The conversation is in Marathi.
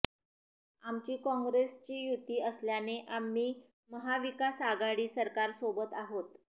आमची काँग्रेसशी युती असल्याने आम्ही महाविकास आघाडी सरकारसोबत आहोत